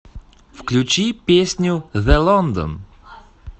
включи песню зэ лондон